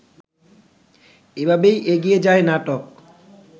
এভাবেই এগিয়ে যায় নাটক